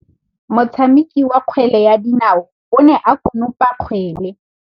Motshameki wa kgwele ya dinaô o ne a konopa kgwele.